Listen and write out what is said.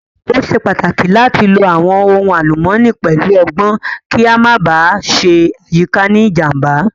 Ó ṣe pàtàkì láti lo àwọn ohun àlùmọ́nì pẹ̀lú ọgbọ́n kí a Má ba à ṣe àyíká ní ìjàm̀bá